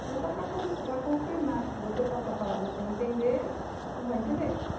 Então, só para para confirmar que se você passar a palavra sem entender, não vai entender.